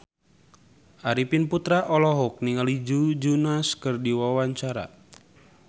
Arifin Putra olohok ningali Joe Jonas keur diwawancara